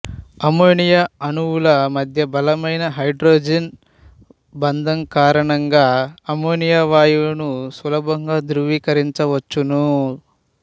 ammonia అణువుల మధ్య బలమైన హైడ్రోజన్ బంధ కారణంగాఅమ్మోనియా వాయువును సులభంగా ద్రవికరించవచ్చును